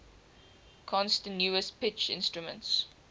continuous pitch instruments